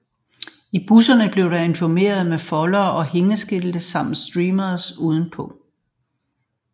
I busserne blev der informeret med foldere og hængeskilte samt streamers udenpå